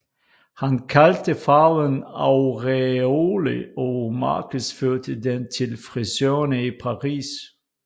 Han kaldte farven Auréole og markedsførte den til frisørerne i Paris